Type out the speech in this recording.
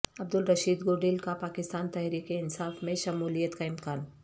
عبدالرشید گوڈیل کا پاکستان تحریک انصاف میں شمولیت کا امکان